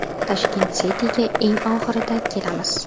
Tashkent City’ga eng oxirida kelamiz.